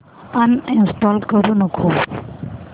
uninstall करू नको